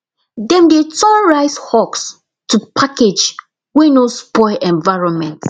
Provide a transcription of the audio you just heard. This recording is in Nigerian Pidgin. dem dey turn rice husk to package wey no spoil environment